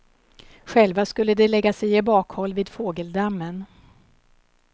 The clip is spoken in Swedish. Själva skulle de lägga sig i bakhåll vid fågeldammen.